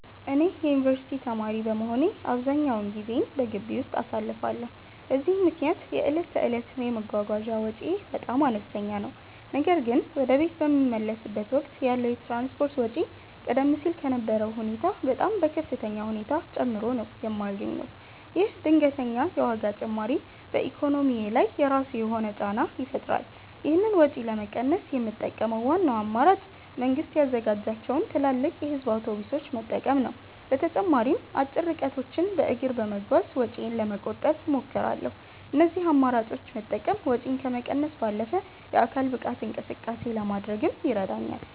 እኔ የዩኒቨርሲቲ ተማሪ በመሆኔ አብዛኛውን ጊዜዬን በግቢ ውስጥ አሳልፋለሁ፤ በዚህም ምክንያት የዕለት ተዕለት የመጓጓዣ ወጪዬ በጣም አነስተኛ ነው። ነገር ግን ወደ ቤት በምመለስበት ወቅት ያለው የትራንስፖርት ወጪ ቀደም ሲል ከነበረው ሁኔታ በጣም በከፍተኛ ሁኔታ ጨምሮ ነው የማገኘው። ይህ ድንገተኛ የዋጋ ጭማሪ በኢኮኖሚዬ ላይ የራሱ የሆነ ጫና ይፈጥራል። ይህንን ወጪ ለመቀነስ የምጠቀመው ዋናው አማራጭ መንግስት ያዘጋጃቸውን ትላልቅ የህዝብ አውቶቡሶች መጠቀም ነው። በተጨማሪም አጭር ርቀቶችን በእግር በመጓዝ ወጪዬን ለመቆጠብ እሞክራለሁ። እነዚህን አማራጮች መጠቀም ወጪን ከመቀነስ ባለፈ የአካል ብቃት እንቅስቃሴ ለማድረግም ይረዳኛል።